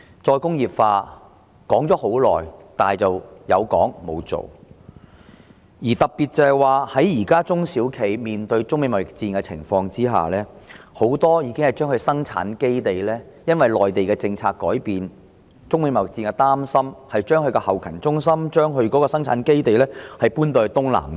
再工業化討論已久，但卻沒有實際行動，特別是現時中小企面對中美貿易戰，很多企業也基於內地政策改變和對中美貿易戰的憂慮而將生產基地和後勤中心遷往東南亞。